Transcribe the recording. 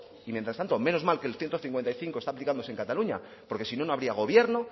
y mientras tanto menos mal que el ciento cincuenta y cinco está aplicándose en cataluña porque si no no habría gobierno